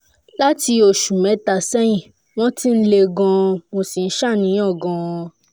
láti oṣù mẹ́ta sẹ́yìn wọ́n ti le gan-an mo sì ń ṣàníyàn gan-an